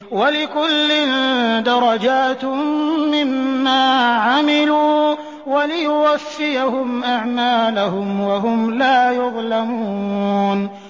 وَلِكُلٍّ دَرَجَاتٌ مِّمَّا عَمِلُوا ۖ وَلِيُوَفِّيَهُمْ أَعْمَالَهُمْ وَهُمْ لَا يُظْلَمُونَ